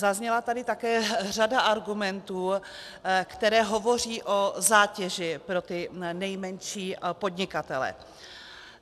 Zazněla tady také řada argumentů, které hovoří o zátěži pro ty nejmenší podnikatele.